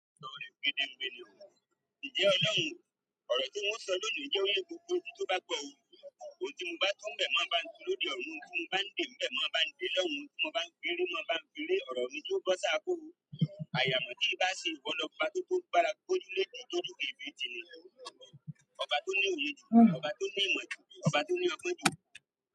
Òrò tí mo ń sọ lónìí jẹ́ o ye gbogbo ojú tó bá gbọ́ o. Ohun tí mo bá tú n bẹ̀ máa ń ba tu lóde ọ̀run, ohun tí mo bá ń dé bẹ̀ máa ń bá ń dé l'ọrun, ohun tí mo bá ń firé máa ń bá ń firé. Òrò ni tí ó gbọ́ sá kúrò. Àyà mọ bí ìbá ṣe ń wọ́n lọkùnfa tó tó gbára kúrò lédè tó dúró fé fé tìrẹ. Ọba tó ní oyè ju, ọba tó ní ìmọ̀ ju, ọba tó ní ọgbọ́n ju.